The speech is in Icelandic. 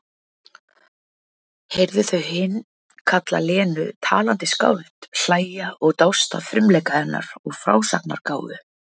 Heyrði þau hin kalla Lenu talandi skáld, hlæja og dást að frumleika hennar og frásagnargáfu.